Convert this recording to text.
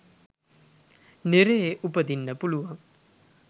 නිරයේ උපදින්න පුළුවන්.